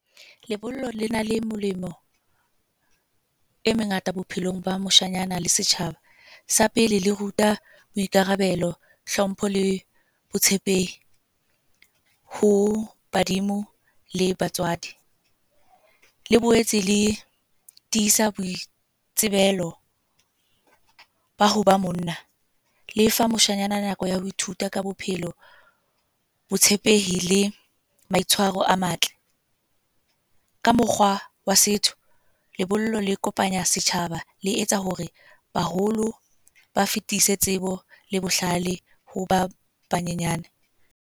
Lebollo le na le molemo, e mengata bophelong ba moshanyana le setjhaba. Sa pele le ruta boikarabelo, hlompho le botshepehi ho badimo le batswadi. Le boetse le tiisa boitsebelo ba ho ba monna. Lefa moshanyana nako ya ho ithuta ka bophelo botshepehi le maitshwaro a matle. Ka mokgwa wa setso, lebollo le kopanya setjhaba le etsa hore baholo ba fetise tsebo le bohlale ho ba banyenyane.